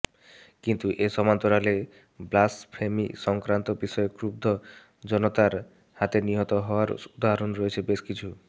কিন্তু এর সমান্তরালে ব্লাসফেমি সংক্রান্ত বিষয়ে ক্রুব্ধ জনতার হাতে নিহত হওয়ার উদাহরণ রয়েছে বেশ কিছু